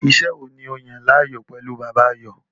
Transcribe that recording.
Iṣẹ́ wo ni o yàn láàyò pẹ̀lú Bàbá, Ayọ̀?